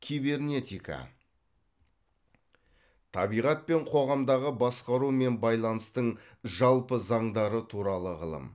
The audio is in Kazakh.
кибернетика табиғат пен қоғамдағы басқару мен байланыстың жалпы заңдары туралы ғылым